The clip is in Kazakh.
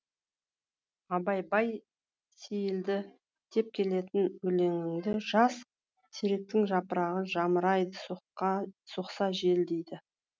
абай бай сейілді деп келетін өлеңінде жас теректің жапырағы жамырайды соқса жел дейді